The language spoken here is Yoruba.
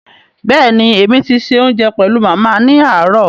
Béèni èmi ti ṣe òunjẹ pẹlu Màmá ni aarọ̀